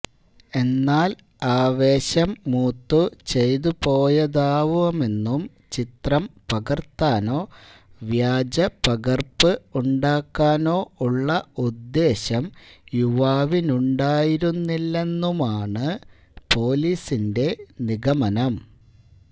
എന്നാൽ ആവേശം മൂത്തു ചെയ്തുപോയതാവാമെന്നും ചിത്രം പകർത്താനോ വ്യാജപകർപ്പ് ഉണ്ടാക്കാനോ ഉള്ള ഉദ്ദേശം യുവാവിനുണ്ടായിരുന്നില്ലെന്നുമാണ് പൊലീസിന്റെ നിഗമനം